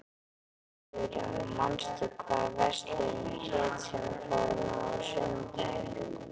Sigurjón, manstu hvað verslunin hét sem við fórum í á sunnudaginn?